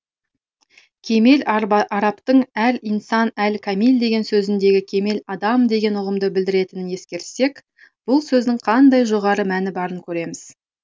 кемел арабтың әл инсан әл камил деген сөзіндегі кемел адам деген ұғымды білдіретінін ескерсек бұл сөздің қандай жоғары мәні барын көреміз